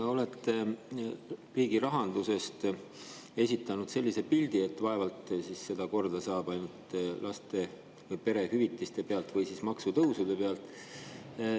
Te olete riigirahandusest esitanud sellise pildi, et vaevalt seda korda saab ainult laste- või perehüvitiste arvel või maksutõusude abil.